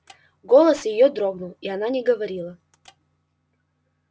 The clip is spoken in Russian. голос её дрогнул и она не говорила